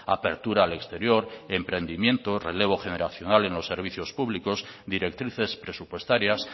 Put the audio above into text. apertura al exterior emprendimiento relevo generacional en los servicios públicos directrices presupuestarias